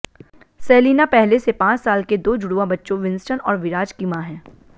Selina पहले से पांच साल के दो जुड़वां बच्चों विंस्टन और विराज की मां हैं